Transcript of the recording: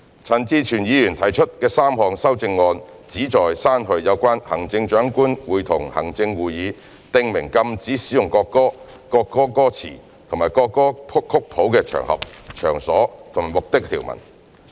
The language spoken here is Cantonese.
陳志全議員提出的3項修正案旨在刪去有關行政長官會同行政會議訂明禁止使用國歌、國歌歌詞或國歌曲譜的場合、場所或目的的條文。